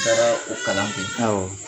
Taara o kalan kɛ. Awɔ.